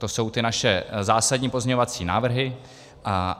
To jsou ty naše zásadní pozměňovací návrhy.